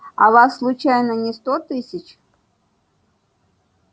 а вас случайно не сто тысяч